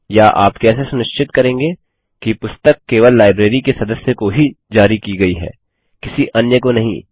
या आप कैसे सुनिश्चित करेंगे कि पुस्तक केवल लाइब्रेरी के सदस्य को ही जारी की गई है किसी अन्य को नहीं